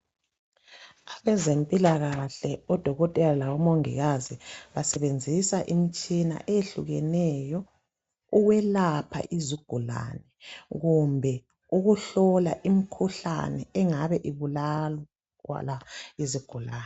Abezempilakahle odokotela labomongikazi basebenzisa imitshina eyehlukeneyo ukwelapha izigulane kumbe ukuhlola imkhuhlane engabe ibulala kwala izigulane.